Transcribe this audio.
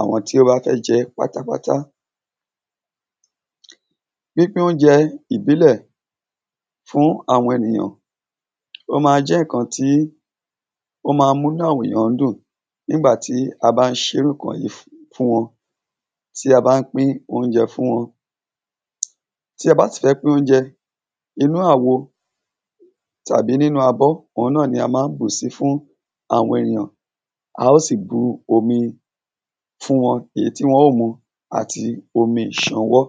àwọn tí ó bá fẹ́ jẹ́ pátápátá. Pípín óúnjẹ ìbílẹ̀ fún àwọn ènìyàn ó má ń jẹ́ ǹkan tí ó má nm múnú àwọn ènìyàn dùn nígbà tí a bá ń ṣe iŕ ǹkan wọ̀nyí fún wọn. Tí a bá ń pín óúnjẹ fún wọn. Tẹ bá sì ti fẹ́ pín óúnjẹ, inú àwo tàbí nínú abọ́ òhun náà ni a má ń bú sí fún àwọn ènìyàn. A ó sì bu omi fún wọn èyí tí wọn ó mu àti omi ìsanwọ́.